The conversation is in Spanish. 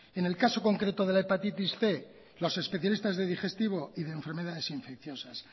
en el caso concreto de la hepatitis cien los especialistas de digestivo y de enfermedades infecciosas